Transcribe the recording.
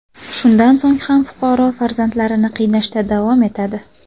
Shundan so‘ng ham fuqaro farzandlarini qiynashda davom etadi.